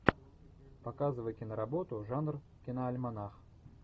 показывай киноработу жанр киноальманах